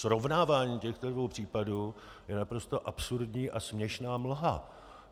Srovnávání těchto dvou případů je naprosto absurdní a směšná mlha.